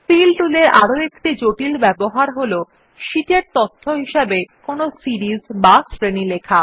feel tool এর একটি আরো জটিল ব্যবহার হল সীট এ তথ্য হিসাবে কোনো সিরিস বা শ্রেণী লেখা